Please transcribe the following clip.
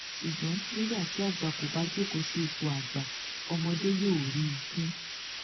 ṣùgbọn nígbà tí àgbà kò bá jókòó sí ipò àgbà ọmọdé yóò rí i fín